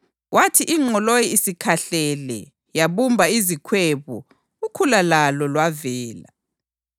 Kwathi ingqoloyi isikhahlele yabumba izikhwebu, ukhula lalo lwavela.